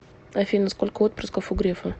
афина сколько отпрысков у грефа